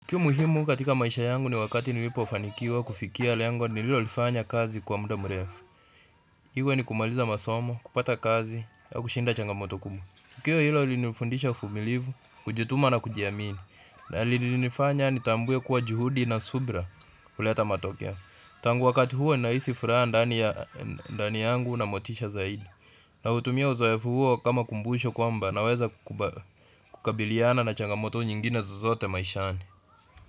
Tukio muhimu katika maisha yangu ni wakati nilipofanikiwa kufikia lengo nililolifanya kazi kwa muda mrefu. Iwe ni kumaliza masomo, kupata kazi, na kushinda changamoto kubwa. Tukio hilo lilinifundisha uvumilivu, kujituma na kujiamini. Na lilinifanya nitambue kuwa juhudi na subira huleta matokeo. Tangu wakati huo ninahisi furaha ndani ya ndani yangu na motisha zaidi. Nautumia uzoefu huo kama kumbusho kwamba naweza kukabiliana na changamoto nyingine zozote maishani.